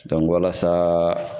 walasa